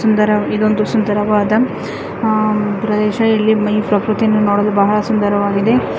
ಸುಂದರ ಇದೊಂದು ಸುಂದರವಾದ ಆ ಪ್ರದೇಶ ಇಲ್ಲಿ ಈ ಪ್ರಕೃತಿಯನ್ನು ನೋಡಲು ಬಹಳ ಸುಂದರವಾಗಿದೆ.